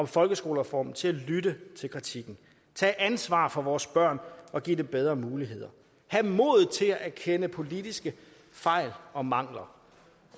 folkeskolereformen til at lytte til kritikken tage ansvar for vores børn og give dem bedre muligheder have modet til at erkende politiske fejl og mangler